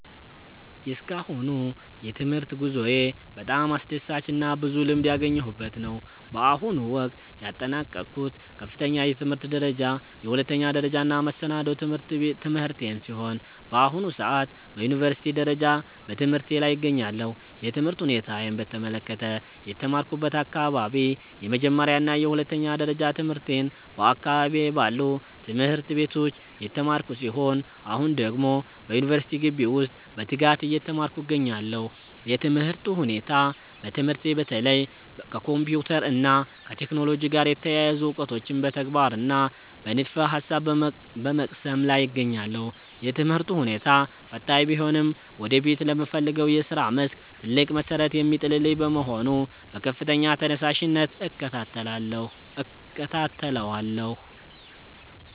የእስካሁኑ የትምህርት ጉዞዬ በጣም አስደሳችና ብዙ ልምድ ያገኘሁበት ነው። በአሁኑ ወቅት ያጠናቀቅኩት ከፍተኛ የትምህርት ደረጃ የሁለተኛ ደረጃና መሰናዶ ትምህርቴን ሲሆን፣ በአሁኑ ሰዓት በዩኒቨርሲቲ ደረጃ በትምህርቴ ላይ እገኛለሁ። የትምህርት ሁኔታዬን በተመለከተ፦ የተማርኩበት አካባቢ፦ የመጀመሪያና የሁለተኛ ደረጃ ትምህርቴን በአካባቢዬ ባሉ ትምህርት ቤቶች የተማርኩ ሲሆን፣ አሁን ደግሞ በዩኒቨርሲቲ ግቢ ውስጥ በትጋት እየተማርኩ እገኛለሁ። የትምህርቱ ሁኔታ፦ በትምህርቴ በተለይ ከኮምፒውተር እና ከቴክኖሎጂ ጋር የተያያዙ እውቀቶችን በተግባርና በንድፈ-ሐሳብ በመቅሰም ላይ እገኛለሁ። የትምህርቱ ሁኔታ ፈታኝ ቢሆንም ወደፊት ለምፈልገው የሥራ መስክ ትልቅ መሠረት የሚጥልልኝ በመሆኑ በከፍተኛ ተነሳሽነት እከታተለዋለሁ።